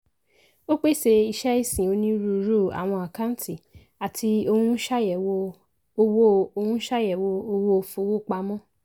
ó pèsè iṣẹ́ ìsìn onírúurú àwọn àkáǹtì àti ohun ṣàyẹ̀wò owó ohun ṣàyẹ̀wò owó fowópamọ́.